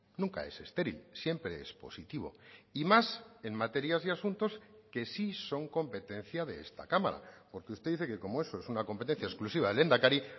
nunca es estéril siempre es positivo y más en materias y asuntos que sí son competencia de esta cámara porque usted dice que como eso es una competencia exclusiva del lehendakari